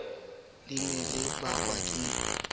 le ne le bakwa ke